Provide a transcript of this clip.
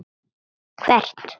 Sástu hvert þeir fóru?